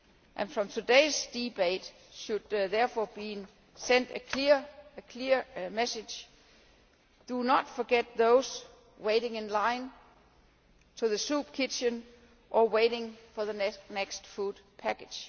And from today's debate should, therefore, be sent a clear message do not forget those waiting in line at the soup kitchen or waiting for the next food package.